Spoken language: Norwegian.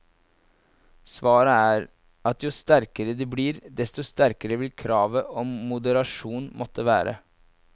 Svaret er at jo sterkere de blir, desto sterkere vil kravet om moderasjon måtte være.